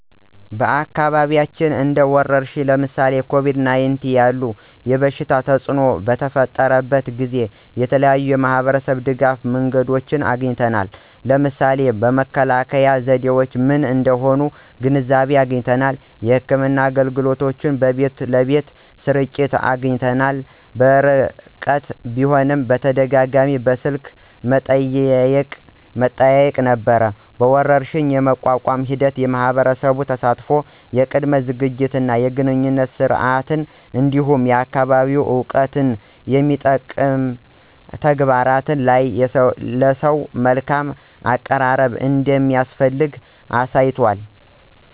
በአካባቢያችን እንደ ወረርሽኝ (ለምሳሌ ኮቪድ-19) ያለ የበሽታ ተፅእኖ በተፈጠረበት ጊዜ የተለያዩ የማህበረሰብ ድጋፍ መንገዶችን አግኝተናል። ለምሳሌ መከላከያ ዘዴዎች ምን እንደሆኑ ግንዛቤ አግኝተናል። የሕክምና አገልግሎቶች በቤት ለቤት ስርጭት አግኝተናል። በርቀት ቢሆንም በተደጋጋሚ በስልክ መጠያየቅ ነበሩ። ወረርሽኝን የመቋቋም ሂደት የማህበረሰብ ተሳትፎ፣ የቅድመ ዝግጅት እና የግንኙነት ስርዓት፣ እንዲሁም የአካባቢ እውቀትን የሚጠቅም ተግባራት እና ለሰው መልካም አቀራረብ እንደሚያስፈልግ አሳይቷል።